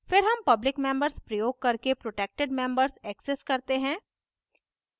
फिर हम public members प्रयोग करके protected members access करते हैं